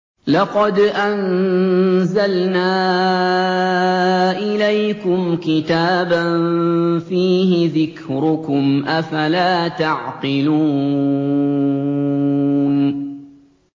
لَقَدْ أَنزَلْنَا إِلَيْكُمْ كِتَابًا فِيهِ ذِكْرُكُمْ ۖ أَفَلَا تَعْقِلُونَ